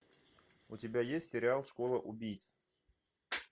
у тебя есть сериал школа убийц